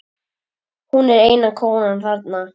Hún er eina konan þarna.